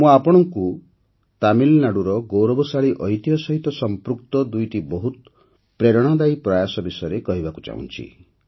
ମୁଁ ଆପଣଙ୍କୁ ତାମିଲନାଡୁର ଗୌରବଶାଳୀ ଐତିହ୍ୟ ସହିତ ସଂପୃକ୍ତ ଦୁଇଟି ବହୁତ ପ୍ରେରଣାଦାୟୀ ପ୍ରୟାସ ବିଷୟରେ କହିବାକୁ ଚାହୁଁଛି